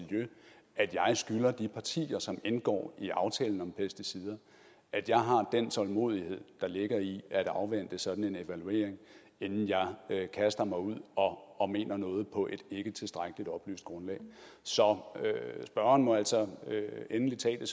at jeg at jeg skylder de partier som indgår i aftalen om pesticider at jeg har den tålmodighed der ligger i at afvente en sådan evaluering inden jeg kaster mig ud og mener noget på et ikketilstrækkeligt oplyst grundlag så spørgeren må altså endelig tage